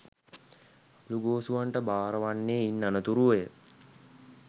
අළුගෝසුවන්ට බාර වන්නේ ඉන් අනතුරුවය.